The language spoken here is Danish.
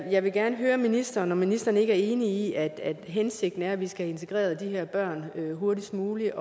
jeg vil gerne høre ministeren om ministeren ikke er enig i at at hensigten er at vi skal have integreret de her børn hurtigst muligt